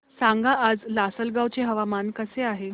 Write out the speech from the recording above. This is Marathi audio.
सांगा आज लासलगाव चे हवामान कसे आहे